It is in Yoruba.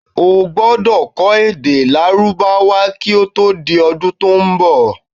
O gbọdọ̀ kó̩ èdè lárúbáwá ki o to di ọdun to n bọ̀